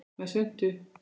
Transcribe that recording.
Með svuntu.